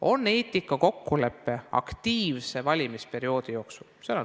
On olemas eetikakokkulepe aktiivse valimisperioodi jaoks.